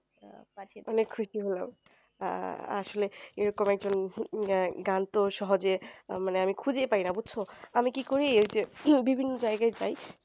আহ আসলে এরকম একজন গান তো সহজে মানে আমি খুঁজেই পাইনা বুজছো আমি কি করি এই যে বিভিন্ন জায়গায় যাই